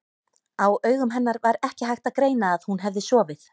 Á augum hennar var ekki hægt að greina að hún hefði sofið.